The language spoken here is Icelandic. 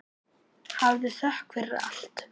Hafðu þökk fyrir allt.